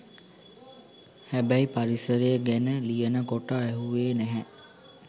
හැබැයි පරිසරය ගැන ලියනකොට ඇහුවෙ නැහැ